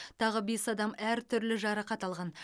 тағы бес адам әртүрлі жарақат алған